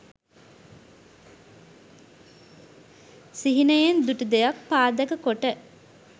සිහිනයෙන් දුටු දෙයක් පාදක කොට